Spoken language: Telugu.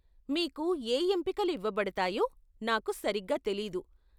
మీకు ఏ ఎంపికలు ఇవ్వబడతాయో నాకు సరిగ్గా తెలీదు.